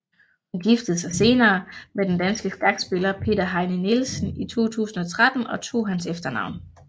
Hun giftede sig senere med den danske skakspiller Peter Heine Nielsen i 2013 og tog hans efternavn